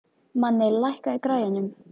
Manni, lækkaðu í græjunum.